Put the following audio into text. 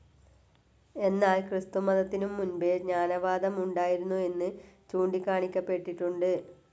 എന്നാൽ ക്രിസ്തുമതത്തിനും മുൻപേ ജ്ഞാനവാദം ഉണ്ടായിരുന്നു എന്നു ചൂണ്ടിക്കാണിക്കപ്പെട്ടിട്ടുണ്ട്.